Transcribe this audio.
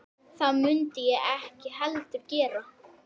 Það mundi ég ekki heldur gera